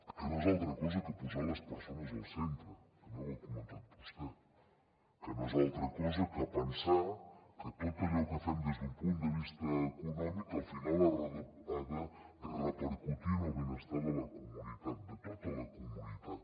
que no és altra cosa que posar les persones al centre també ho ha comentat vostè que no és altra cosa que pensar que tot allò que fem des d’un punt de vista econòmic al final ha de repercutir en el benestar de la comunitat de tota la comunitat